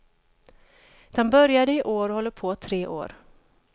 Den började i år och håller på tre år.